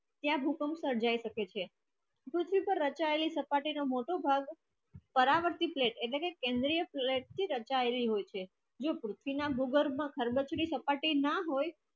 ત્યાં ભૂકંપ સર્જાય શકે છ duty તો રચલાયેલો ચપટી નો મોટો ઠાલો તારણતી plate એને તર તેંગળીય દર્શાવી હોય છે ભો સ્થળ માં ચપટી ના હોય